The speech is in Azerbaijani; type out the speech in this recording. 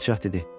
Padşah dedi: